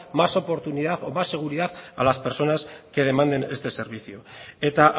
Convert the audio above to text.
más oportunidad más seguridad a las personas que demanden este servicio eta